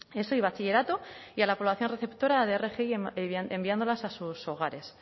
eso y bachillerato y a la población receptora de rgi enviándola a sus hogares